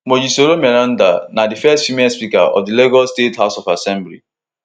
mojisola meranda na di first female speaker of di lagos state house of assembly